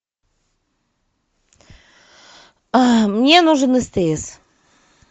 мне нужен стс